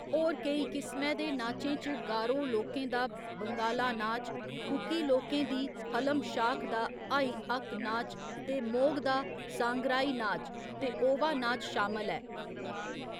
होर केई किसमै दे नाचें च गारो लोकें दा वंगाला नाच, कुकी लोकें दी हलम शाख दा हाई हक्क नाच ते मोग दा सांगराई नाच ते ओवा नाच शामल ऐ।